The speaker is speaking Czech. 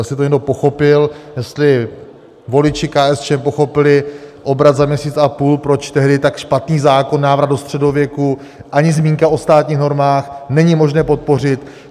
Jestli to někdo pochopil, jestli voliči KSČM pochopili obrat za měsíc a půl, proč tehdy tak špatný zákon, návrat do středověku, ani zmínka o státních normách, není možné podpořit.